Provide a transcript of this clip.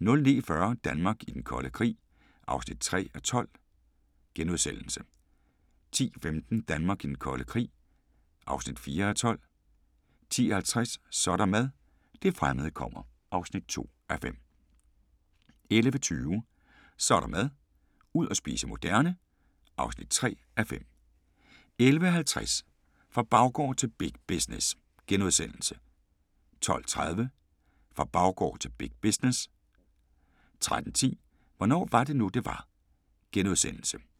09:40: Danmark i den kolde krig (3:12)* 10:15: Danmark i den kolde krig (4:12) 10:50: Så er der mad – det fremmede kommer (2:5) 11:20: Så er der mad – ud og spise moderne (3:5) 11:50: Fra baggård til big business * 12:30: Fra baggård til big business 13:10: Hvornår var det nu, det var? *